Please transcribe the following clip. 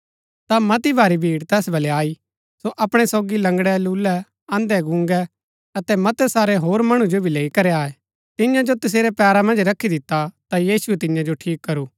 ता मती भारी भीड़ तैस बलै आई सो अपणै सोगी लंगड़ै लूले अन्धै गूंगै अतै मतै सारै होर मणु जो भी लैई करी आये तियां जो तसेरै पैरा मन्ज रखी दिता ता यीशुऐ तियां जो ठीक करू